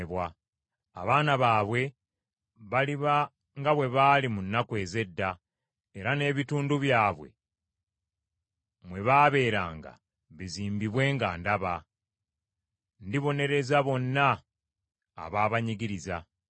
Abaana baabwe baliba nga bwe baali mu nnaku ez’edda, era n’ebitundu byabwe mwe baabeeranga bizimbibwe nga ndaba. Ndibonereza bonna ababanyigiriza.